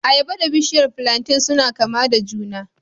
Ayaba da bishiyar plantain suna kama da juna